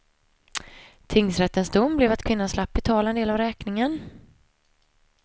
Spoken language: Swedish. Tingsrättens dom blev att kvinnan slapp betala en del av räkningen.